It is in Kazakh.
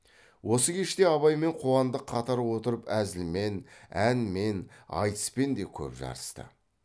осы кеште абай мен қуандық қатар отырып әзілмен әнмен айтыспен де көп жарысты